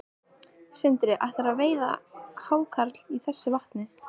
Sindri: Ætlarðu að veiða hákarl í þessu vatni?